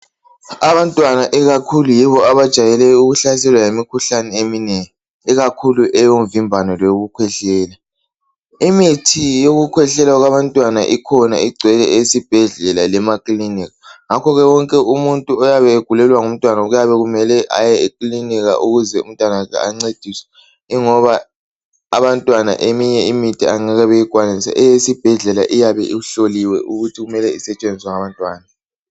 Abantwana ikakhulu yibo abajayele ukuhlaselwa yimikhuhlane eminengi, ikakhulu eyomvimbano leyokukhwehlela. imithi yokukhwehlela kwabantwana ikhona, igcwele esibhedlela lemakilinika, ngakho ke wonke umuntu oyabe egulelwa ngumntwana kuyabe kumele aye ekilinika ukuze umntanakhe ancediswe, kungoba abantwana eminye imithi angeke beyikwanise. Eyesebhedlela iyabe ihloliwe ukuthi kumele isetshenziswe ngabantwana.